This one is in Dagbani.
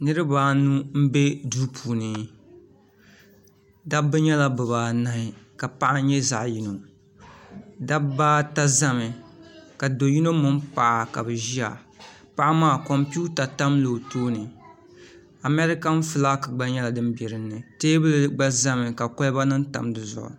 niribaanu n bɛ do puuni da ba nyɛna bɛ baanahi paɣ' nyɛ zaɣ' yino dabibaata zami ka do yino mɛni paɣ' ka bɛ ʒɛya paɣ' maa kompɛwuta tamila o tuuni amɛrikan ƒɔlaki gba nyɛla din bɛ dini tɛbuli gba zami ka koliba nim tam di zuɣ'